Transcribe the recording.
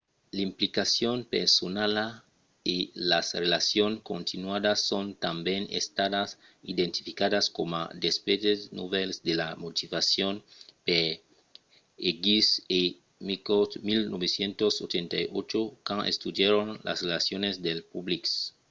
l'implicacion personala” e las relacions continuadas” son tanben estadas identificadas coma d'aspèctes novèls de la motivacion per eighmey e mccord 1998 quand estudièron las reaccions del public als sits web